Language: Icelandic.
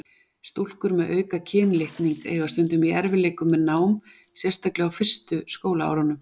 Stúlkur með auka kynlitning eiga stundum í erfiðleikum með nám, sérstaklega á fyrstu skólaárunum.